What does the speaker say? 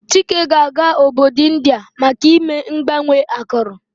Chike ga-aga obodo India maka ime mgbanwe akụrụ.